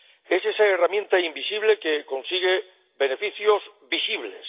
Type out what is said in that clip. es esa herramienta invisible que consigue beneficios visibles.